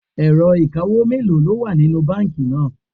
Ẹ̀rọ ìkawó mélòó ló wà nínú báńkì náà?